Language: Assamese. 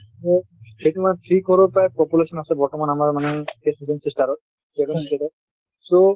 সেইটো মানে three crore প্ৰায় population আছে বৰ্তমান আমাৰ মানে সেই seven sister ত so